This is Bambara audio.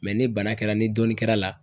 ni bana kɛra ni dɔn kɛra la